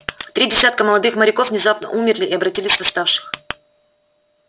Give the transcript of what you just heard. три десятка молодых моряков внезапно умерли и обратились в восставших